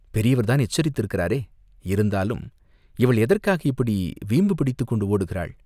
பெரியவர்தான் எச்சரித்திருக்கிறாரே, இருந்தாலும், இவள் எதற்காக இப்படி வீம்பு பிடித்துக் கொண்டு ஓடுகிறாள்